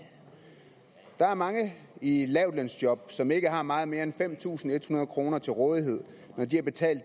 der er mange i lavtlønsjob som ikke har meget mere end fem tusind en hundrede kroner til rådighed når de har betalt